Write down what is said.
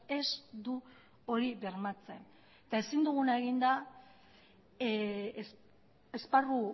ez du hori bermatzen eta ezin duguna egin da esparru